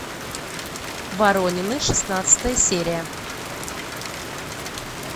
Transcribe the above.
воронины шестнадцатая серия